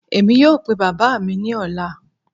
Emi yoo pe baba mi ni ọla.